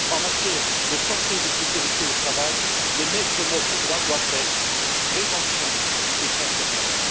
En matière de santé et de sécurité au travail les maîtres mots, pour moi, doivent être prévention et concertation.